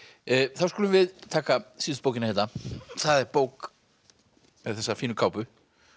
þá skulum við taka síðustu bókina hérna það er bók með þessa fínu kápu